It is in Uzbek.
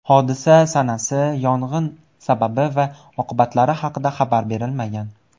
Hodisa sanasi, yong‘in sababi va oqibatlari haqida xabar berilmagan.